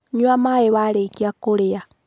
Nyua mai warĩkia kũrĩa.